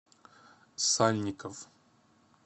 сальников